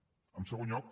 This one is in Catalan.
en segon lloc